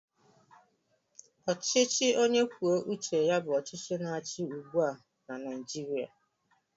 Ọchịchị onye kwuo uche ya bụ ọchịchị na-achị ugbu a na Naijirịa